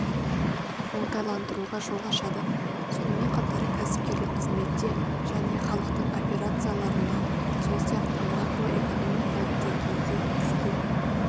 оңтайландыруға жол ашады сонымен қатар кәсіпкерлік қызметте және халықтың операцияларында сол сияқты макроэкономикалық деңгейде іске